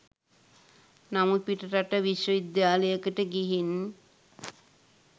නමුත් පිටරට විශ්ව විද්‍යාලයකට ගිහින්